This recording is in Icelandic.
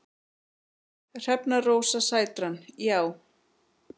Hrefna Rósa Sætran: Já.